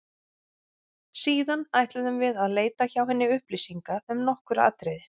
Síðan ætluðum við að leita hjá henni upplýsinga um nokkur atriði.